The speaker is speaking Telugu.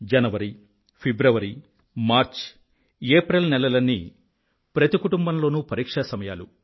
జనవరి ఫిబ్రవరి మార్చి ఏప్రిల్ నెలలన్నీ ప్రతి కుటుంబంలోనూ పరిక్షా సమయాలు